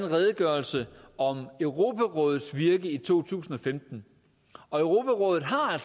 en redegørelse om europarådets virke i to tusind og femten og europarådet har